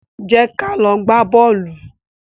Jẹ́ ka lọ gbá bọ́ọ̀lù.